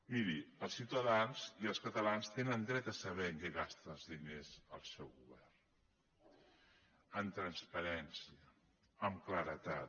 miri els ciutadans i els catalans tenen dret a saber en què gasta els diners el seu govern amb transparència amb claredat